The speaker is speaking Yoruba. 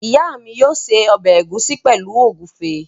Ìyá mi yóò se ọbẹ̀ ẹ̀gúsí pẹ̀lú ògúnfe.